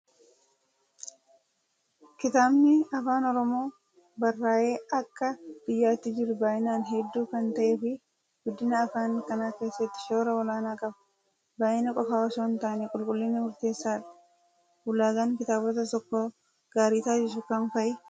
Kitaabni afaan oromoon barraaye Akka biyyaatti jiru baay'inaan hedduu kan ta'ee fi guddina afaan kanaa keessatti shoora olaanaa qaba. Baay'ina qofaa osoo hin taane qulqullinni murteessaadha. Ulaagaan kitaabota tokko gaarii taasisu kam fa'ii?